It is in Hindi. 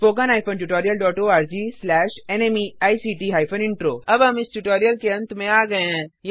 httpspoken tutorialorgNMEICT Intro अब हम इस ट्यूटोरियल के अंत में आ गये हैं